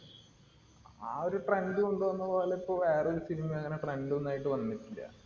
ആ ഒരു trend കൊണ്ടുവന്ന പോലെ ഇപ്പം വേറൊരുo cinema യും അങ്ങനെ trend ഉം ഒന്നുമായിട്ട് വന്നിട്ടില്ല.